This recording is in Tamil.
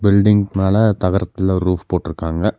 பில்டிங்க் மேல தகரத்துல ரூஃப் போட்டுருக்காங்க.